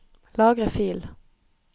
Lagre fil